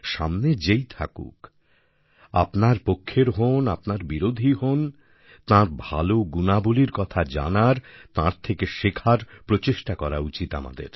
সামনে যেই থাকুন আপনার পক্ষের হোন আপনার বিরোধী হোন তাঁর ভালো গুণাবলীর কথা জানার তাঁর থেকে শেখার প্রচেষ্টা করা উচিত আমাদের